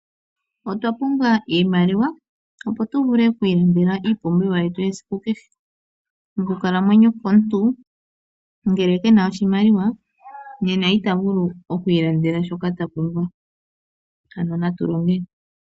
Otwa pumbwa iimaliwa, opo tu vule oku ilandela iipumbiwa yetu yesiku kehe. Okukalamwenyo komuntu ngele ke na oshimaliwa, nena ita vulu oku ilandela shoka ta pumbwa, ano natu longe.